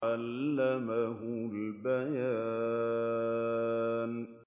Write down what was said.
عَلَّمَهُ الْبَيَانَ